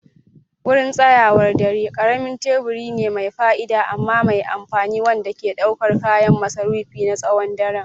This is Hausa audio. Wurin tsayawar dare ƙaramin teburi ne mai fa'ida amma mai amfani wanda ke ɗaukar kayan masarufi na tsawon daren.